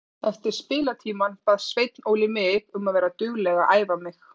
Eftir spilatímann bað Sveinn Óli mig um að vera dugleg að æfa mig.